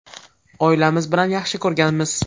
Oilamiz bilan yaxshi ko‘rganmiz.